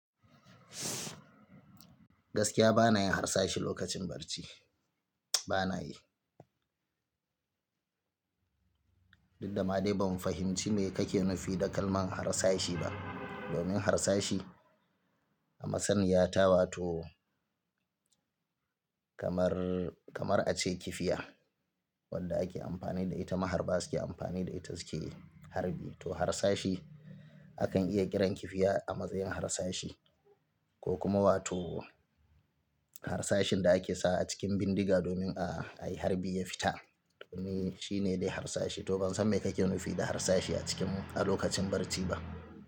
Gaskiya ba na yin harsashe lokacin barci, ba na yi. Duk dama dai ban fahimci me kake nufi da kalmar harsashi ba. Domin harsashi a masaniyata wa to kamar, kamar a ce kifiya wanda ake amfani da ita maharba suke amfani da ita suke harbi. To harsashi akan iya kiran kifiya a matsayin harsashi ko kuma wato harsashin da ake sa a cikin bindiga domin a yi harbi ya fita. Domin shi ne dai harsashi. To ban san me kake nufi da harsashi a cikin a lokacin barci ba.